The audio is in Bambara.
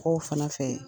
K'o fana fɛ ye